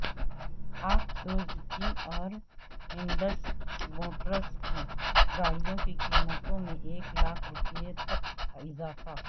پاک سوزوکی اور Indus Motors کی گاڑیوں کی قیمتوں میں ایک لاکھ روپے تک اضافہ